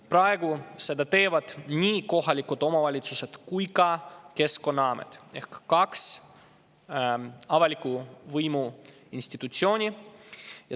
Praegu teevad seda nii kohalikud omavalitsused kui ka Keskkonnaamet ehk kaks avaliku võimu institutsiooni.